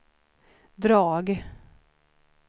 drag